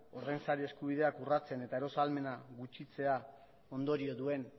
ordain sari eskubideak urratzen eta eros ahalmena gutxitzea ondorio duen